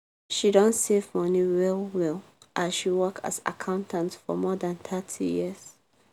she don save money well-well as she work as accountant for more than thirty years.